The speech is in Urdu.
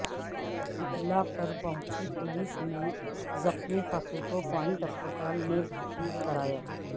اطلاع پر پہنچی پولیس نے زخمی خاتون کو پونڈ ہسپتال میں بھرتی کرایا